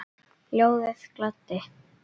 Ljóðið gladdi.